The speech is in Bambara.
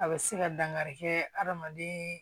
A bɛ se ka dankari kɛ hadamaden